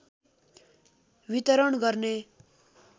वितरण गर्ने